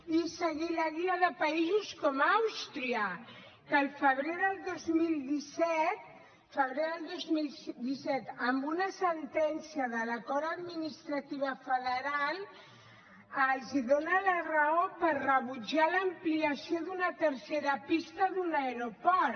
i seguir la guia de països com àustria que al febrer del dos mil disset febrer del dos mil disset en una sentència de la cort administrativa federal els dona la raó per rebutjar l’ampliació d’una tercera pista d’un aeroport